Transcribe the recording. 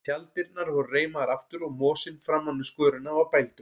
Tjalddyrnar voru reimaðar aftur og mosinn framan við skörina var bældur.